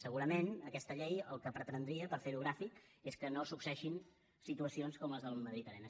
segurament aquest llei el que pretendria per ferho gràfic és que no succeeixin situacions com les del madrid arena